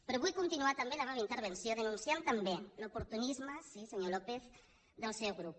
però vull continuar també la meva intervenció denunciant també l’oportunisme sí senyor lópez del seu grup